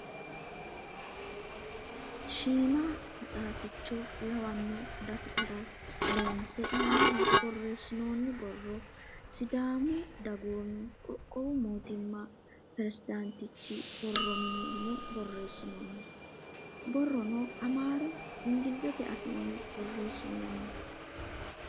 Shiima maxaafficho lwanno daftara loonse aanaho borreessinoonni borro sidaamu dagoomi qoqqowi mootimma presidaantichu borro mine yine borreessinoonni. Borrono amaaru ingilizete afiinni borreessinoonni.